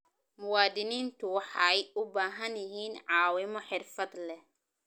Muwaadiniintu waxay u baahan yihiin caawimo xirfad leh.